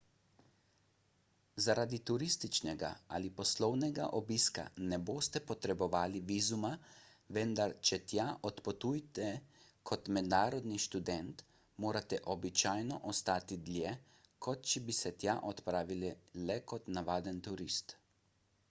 zaradi turističnega ali poslovnega obiska ne boste potrebovali vizuma vendar če tja odpotujete kot mednarodni študent morate običajno ostati dlje kot če bi se tja odpravili le kot navaden turist